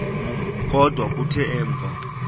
kodwa kuthe emva